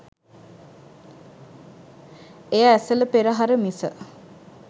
එය ඇසළ පෙරහර මිස